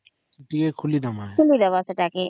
ଖୋଲମା